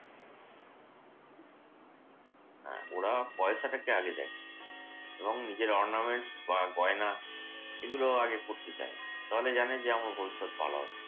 হ্যাঁ ওরা পয়সাটাকে আগে দেখে। এবং নিজেরা ornaments বা গয়না এগুলো আগে পড়তে চায়। তাহলে জানে যে আমাদের ভবিষ্যৎ ভালো হবে।